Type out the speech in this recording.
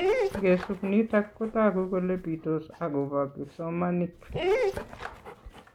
Ngesup nitok Kotagu kole pitos akobo kipsomanik